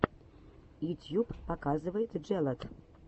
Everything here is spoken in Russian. ютьюб показывай джелот